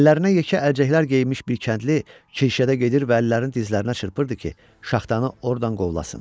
Əllərinə yekə əlcəklər geyinmiş bir kəndli kirşədə gedir və əllərini dizlərinə çırpırdı ki, şaxtanı ordan qovlasın.